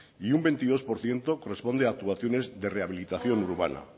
y un veintidós por ciento corresponde a actuaciones de rehabilitación urbana